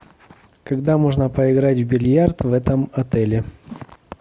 когда можно поиграть в бильярд в этом отеле